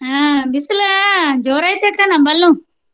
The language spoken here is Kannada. ಹ್ಮ ಬಿಸಲ ಜೋರ ಐತಿ ಅಕ್ಕ ನಮ್ಮಲ್ಲೂ.